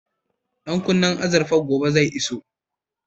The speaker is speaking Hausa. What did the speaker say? Ɗan kunnen azurfar gobe zai iso